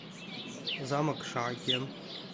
замок шаакен